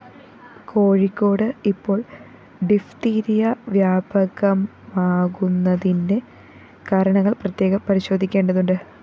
കോഴിക്കോട് ഇപ്പോള്‍ ഡിഫ്തീരിയ വ്യാപകമാകുന്നതിന്റെ കാരണങ്ങള്‍ പ്രത്യേകം പരിശോധിക്കേണ്ടതുണ്ട്